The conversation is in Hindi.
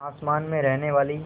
आसमान में रहने वाली